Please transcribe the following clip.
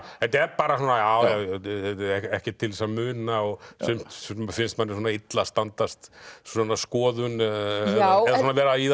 þetta er bara svona ekkert til þess að muna sumt finnst manni illa standast svona skoðun eða vera í það